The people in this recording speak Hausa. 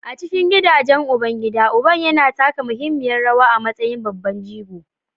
A cikin gidajen ubangida, uba yana taka muhimmiyar rawa a matsayin babban jigo